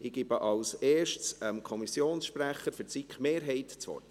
Ich gebe zuerst dem Kommissionssprecher für die SiK-Mehrheit das Wort.